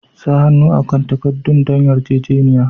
Sa hannu akan takaddun don yarjejeniya.